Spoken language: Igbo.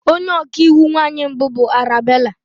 Onye ọka iwu nwanyị mbụ bụ Arabella.